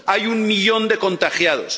Hay un millón de contagiados